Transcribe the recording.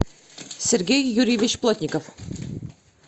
сергей юрьевич плотников